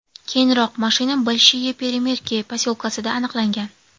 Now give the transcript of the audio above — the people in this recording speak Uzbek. Keyinroq mashina Bolshiye Peremerki posyolkasida aniqlangan.